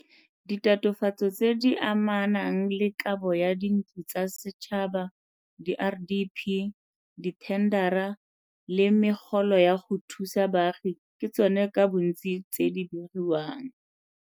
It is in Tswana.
Ditatofatso tse di amanang le kabo ya dintlo tsa setšhaba, diRDP, dithendara le megolo ya go thusa baagi ke tsona ka bontsi tse di begiwang.